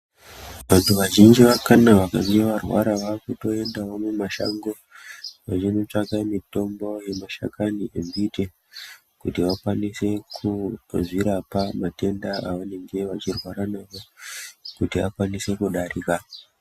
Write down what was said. Vantu vazhinji kana vakange varwara vakutoendawo mumashango, veindotsvaka mitombo yemashakani embiti kuti vakwanise kuzvirapa matenda avanenge vachirwara nawo kuti akwanise kudarika.